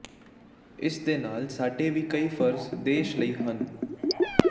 ਇਸ ਦੇ ਨਾਲ ਸਾਡੇ ਵੀ ਕਈ ਫਰਜ਼ ਦੇਸ਼ ਲਈ ਹਨ